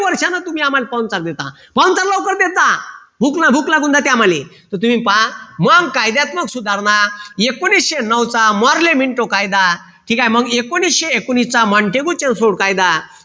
वर्षांन तुम्ही आम्हाला पाहुणचार देता पाहुणचार लवकर देत जा भूक लागून जाते आम्हाले तुम्ही पहा मग कायद्यात्मक सुधारणा एकोणविशे नऊ चा मोर्लेमिंटो कायदा ठीक आहे एकोणविशे एकोणवीस चा कायदा